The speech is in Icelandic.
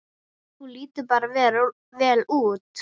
Þú lítur bara vel út!